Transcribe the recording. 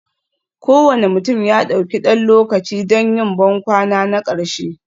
Kowane mutum ya ɗauki ɗan lokaci don yin bankwana na ƙarshe,